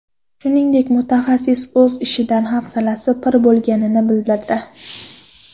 Shuningdek, mutaxassis o‘z ishidan hafsalasi pir bo‘lganini bildirdi.